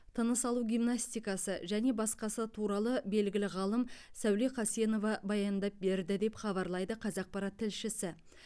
тыныс алу гимнастикасы және басқасы туралы белгілі ғалым сәуле қасенова баяндап берді деп хабарлайды қазақпарат тілшісі